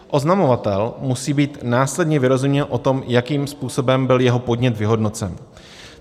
Oznamovatel musí být následně vyrozuměn o tom, jakým způsobem byl jeho podnět vyhodnocen.